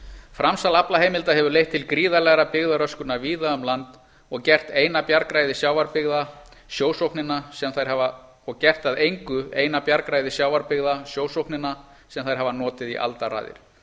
framsal aflaheimilda hefur leitt til gríðarlegrar byggðaröskunar víða um land og gert að engu eina bjargræði sjávarbyggða sjósóknina sem þær hafa notið í aldaraðir